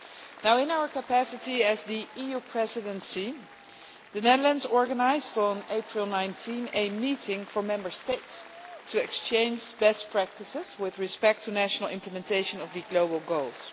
Now in our capacity as the EU Presidency, the Netherlands organised on 19 April a meeting for Member States to exchange best practices with respect to national implementation of the global goals.